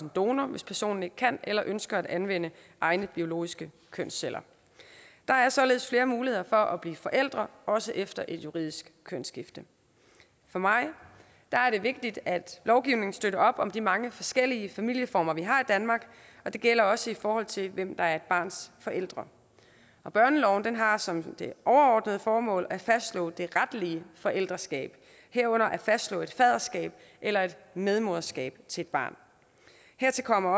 donor hvis personen ikke kan eller ønsker at anvende egne biologiske kønsceller der er således flere muligheder for at blive forældre også efter et juridisk kønsskifte for mig er det vigtigt at lovgivningen støtter op om de mange forskellige familieformer vi har i danmark og det gælder også i forhold til hvem der er et barns forældre børneloven har som det overordnede formål at fastslå det retlige forældreskab herunder at fastslå et faderskab eller et medmoderskab til et barn hertil kommer